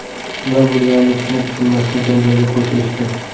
Nima bo‘lganini tushunib-tushunmasdan janjalga qo‘shilishdi.